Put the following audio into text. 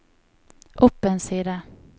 opp en side